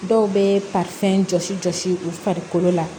Dɔw bɛ jɔsi jɔsi u farikolo la